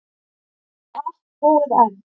Og ekki allt búið enn.